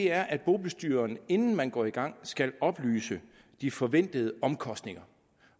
er at bobestyreren inden man går i gang skal oplyse om de forventede omkostninger